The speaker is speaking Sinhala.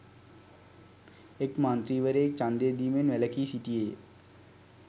එක් මන්ත්‍රීවරයෙක් ඡන්දය දීමෙන් වැළකී සිටියේය